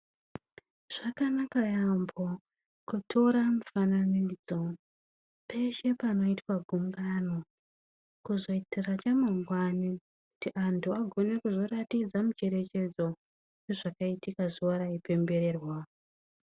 Zvakanaka yaampho kutora mufananidzo peshe panoitwe gungano kuzoitire chamangwani kuti anthu agone kuzoratidza mucherechedzo wezvakaitika zuwa raipembererwa.